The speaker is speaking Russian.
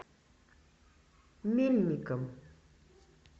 мельником